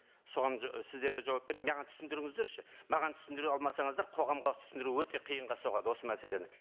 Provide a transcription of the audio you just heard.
соған сіздер де жауап маған түсіндіріңіздерші маған түсіндіре алмасаңыздар қоғамға түсіндіру өте қиынға соғады осы мәселені